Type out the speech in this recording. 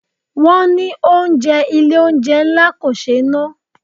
Wọn ní oúnjẹ Ilé-oúnjẹ ńlá kò ṣé na.